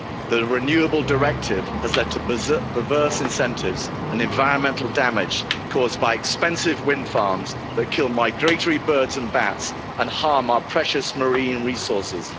The Renewable Energy Directive has led to perverse incentives and environmental damage caused by expensive wind farms that kill migratory birds and bats and harm our precious marine resources.